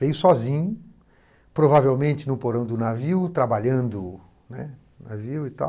Veio sozinho, provavelmente no porão do navio, trabalhando, né, no navio e tal.